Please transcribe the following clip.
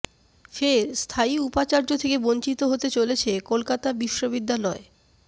ফের স্থায়ী উপাচার্য থেকে বঞ্চিত হতে চলেছে কলকাতা বিশ্ববিদ্যালয়